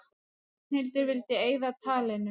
Ragnhildur vildi eyða talinu.